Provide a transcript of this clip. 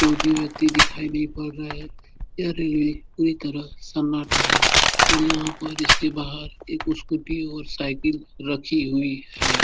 कोई भी व्यक्ति दिखाई नहीं पड़ रहा है। यह रैली पूरी तरह सन्नाटा है और यहाँ पर इसके बाहर एक स्कूटी और साईकिल रखी हुई है।